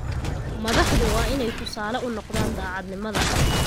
Madaxdu waa inay tusaale u noqdaan daacadnimada.